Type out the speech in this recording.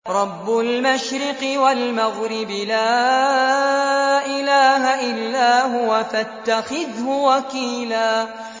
رَّبُّ الْمَشْرِقِ وَالْمَغْرِبِ لَا إِلَٰهَ إِلَّا هُوَ فَاتَّخِذْهُ وَكِيلًا